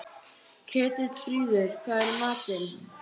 Ketilfríður, hvað er í matinn?